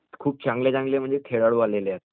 खूप चांगले चांगले म्हणजे खेळाडू आलेले आहेत